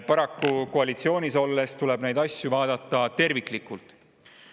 Paraku koalitsioonis olles tuleb neid asju vaadata terviklikult.